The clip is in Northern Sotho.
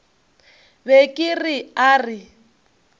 be ke re a re